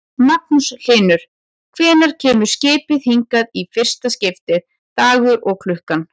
Magnús Hlynur: Hvenær kemur skipið hingað í fyrsta skiptið, dagur og klukkan?